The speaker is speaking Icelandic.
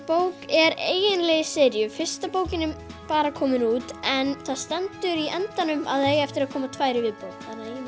bók er eiginlega í seríu fyrsta bókin er bara komin út en það stendur í endanum að það eigi eftir að koma tvær í viðbót